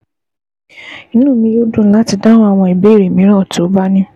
Inú mi yóò dùn láti dáhùn àwọn ìbéèrè mìíràn tó o bá ní